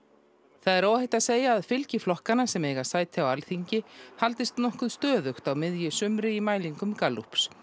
það er óhætt að segja að fylgi flokkanna sem eiga sæti á Alþingi haldist nokkuð stöðugt á miðju sumri í mælingum Gallups